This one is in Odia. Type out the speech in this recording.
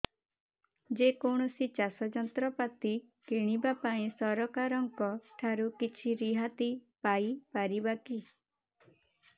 ଯେ କୌଣସି ଚାଷ ଯନ୍ତ୍ରପାତି କିଣିବା ପାଇଁ ସରକାରଙ୍କ ଠାରୁ କିଛି ରିହାତି ପାଇ ପାରିବା କି